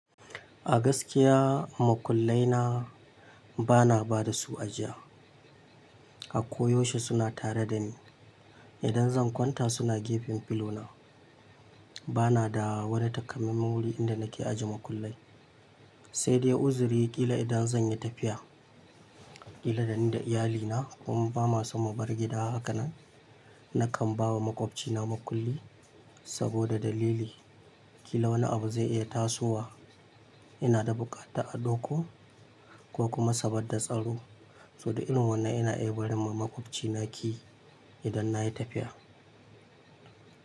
A gaskiya, makullai na ba na ba da su ajiya. A koyaushe suna tare da ni. Idan zan kwanta suna gefen filona. Ba na da wani takamaiman wuri inda nake ajiye makullai, sai dai uzuri ƙila idan zan yi tafiya, ƙila da ni da iyalina kuma ba ma sam mu bar gida haka nan, nakan ba wa maƙwabcina makulli saboda dalili ƙila wani abu zai iya tasowa. Ina da buƙata a ɗoko ko kuma saboda tsaro. So da irin wannan ina iya barin ma maƙwabcina ki idan na yi tafiya.